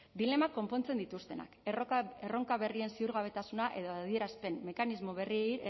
dilemak konpontzen dituztenak erronka berrien ziurgabetasuna edo adierazpen mekanismo berrien